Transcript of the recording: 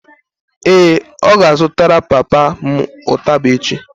ee, ọ ga-azụtara papa m ụtaba echi